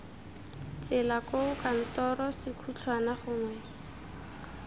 tsela koo kantoro sekhutlhwana gongwe